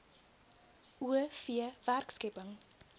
o v werkskepping